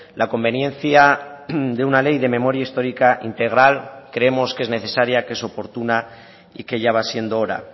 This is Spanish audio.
la conveniencia de una ley de memoria histórica integral creemos que es necesaria que es oportuna y que ya va siendo hora